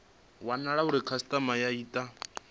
wanala uri khasitama yo ita